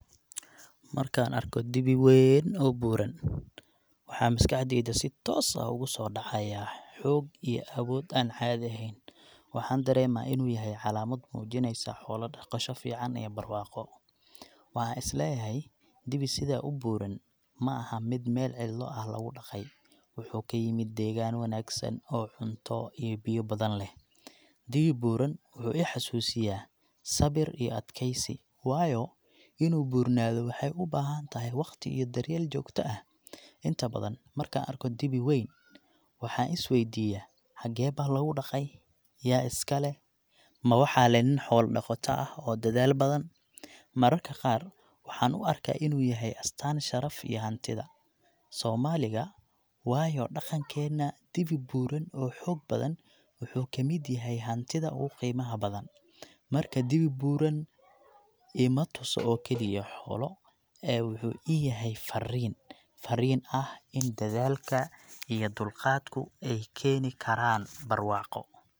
Markaan arko dibi weeyn oo buuran, waxa maskaxdayda si toos ah ugu soo dhacaya xoog iyo awood aan caadi ahayn. Waxaan dareemaa inuu yahay calaamad muujinaysa xoolo dhaqasho fiican iyo barwaaqo. Waxaan is leeyahay, dibi sidaa u buuran ma’aha mid meel cidlo ah lagu dhaqay—wuxuu ka yimid deegaan wanaagsan oo cunto iyo biyo badan leh. Dibi buuran wuxuu i xusuusiyaa sabir iyo adkaysi, waayo, inuu buurnaado waxay u baahantahay waqti iyo daryeel joogta ah. Inta badan, markaan arko dibi weyn, waxaan is weydiiyaa, xagee baa lagu dhaqay? Yaa iska leh? Ma waxaa leh nin xoolo dhaqato ah oo dadaal badan? Mararka qaar, waxaan u arkaa inuu yahay astaan sharaf iyo hantida Soomaaliga, waayo dhaqankeena, dibi buuran oo xoog badan wuxuu kamid yahay hantida ugu qiimaha badan. Marka, dibi buuran ima tuso oo kaliya xoolo, ee wuxuu ii yahay farriin, farriin ah in dadaalka iyo dulqaadku ay keeni karaan barwaaqo.